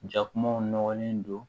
Jakumaw nɔgɔlen don